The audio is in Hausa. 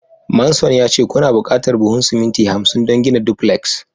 manson ya ce kuna buƙatar buhun siminti hamsin don gina duplex.